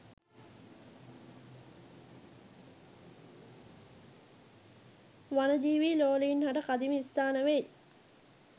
වනජීවී ලෝලීන් හට කදිම ස්ථාන වෙයි